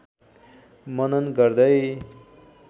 मनन गर्दै